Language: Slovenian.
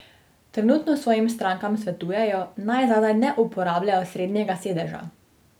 Trenutno svojim strankam svetujejo, naj zadaj ne uporabljajo srednjega sedeža.